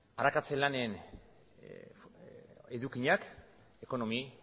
arakatze lanen edukiak ekonomi